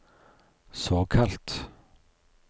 såkalt